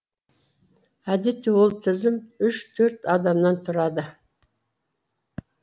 әдетте ол тізім үш төрт адамнан тұрады